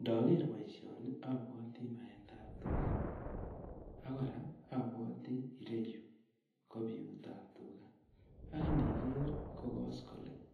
Ndoger boisioni abwati baetab tuga ak kora abwati ireyu ko biutab tuga. Ak indiger ko koskoleny, ak